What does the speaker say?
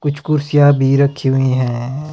कुछ कुर्सीया भी रखी हुई हैं।